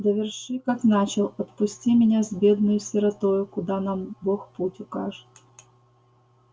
доверши как начал отпусти меня с бедною сиротою куда нам бог путь укажет